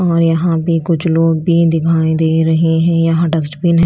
और यहां भी कुछ लोग भी दिखाई दे रहे हैं यहां डस्टबिन है।